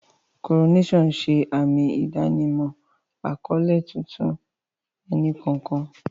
Coronations ṣe àmì ìdánimọ̀ àkọ́lé tuntun ẹnì kọ̀ọ̀kan.